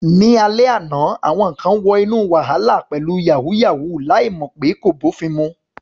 Ní alẹ́ àná, àwọn kan wọ inú wàhálà pẹ̀lú "yàwúyáwù ," láì mọ̀ pé kò bófin mu.